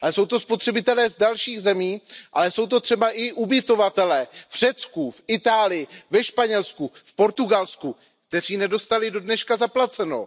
Ale jsou to spotřebitelé z dalších zemí, ale jsou to třeba i ubytovatelé v Řecku, v Itálii, ve Španělsku, v Portugalsku, kteří nedostali do dneška zaplaceno.